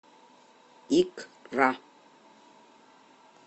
икра